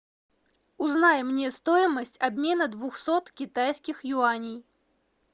узнай мне стоимость обмена двухсот китайских юаней